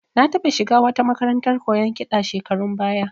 Na taɓa shiga wata makarantar koyon kiɗa shekarun baya